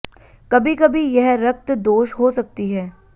कभी कभी यह रक्त दोष हो सकती है